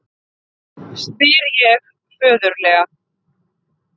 spyr ég föðurlega.